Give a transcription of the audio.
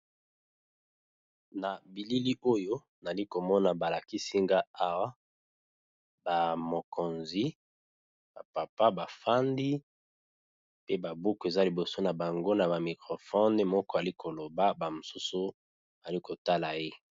Na bilili Oyo namoni bazo lakisa na ba mikonzi